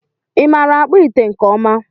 ịmara akpụ ite nke ọma